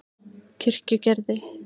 Kirkjugerði